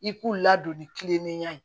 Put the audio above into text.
I k'u ladon ni kilennenya ye